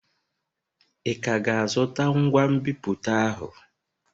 Ị ka ga-azụta ngwa nbipute ahụ?